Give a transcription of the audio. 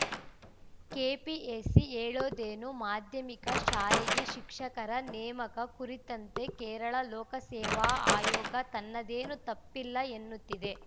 KPSC ಹೇಳೋದೇನು ಮಾಧ್ಯಮಿಕ ಶಾಲೆಗೆ ಶಿಕ್ಷಕರ ನೇಮಕ ಕುರಿತಂತೆ ಕೇರಳ ಲೋಕಸೇವಾ ಆಯೋಗ ತನ್ನದೇನು ತಪ್ಪಿಲ್ಲ ಎನ್ನುತ್ತಿದೆ